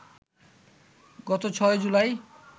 গত ৬ জুলাই